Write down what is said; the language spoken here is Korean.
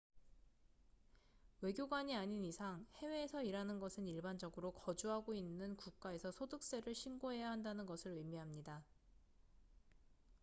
외교관이 아닌 이상 해외에서 일하는 것은 일반적으로 거주하고 있는 국가에서 소득세를 신고해야 한다는 것을 의미합니다